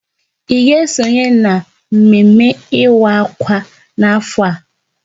Ị ga esonye na mme mme ịwa akwa n'afọ a?